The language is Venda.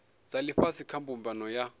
dza ifhasi kha mbumbano ya